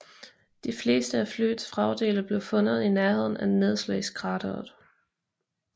De fleste af flyets vragdele blev fundet i nærheden af nedslagskrateret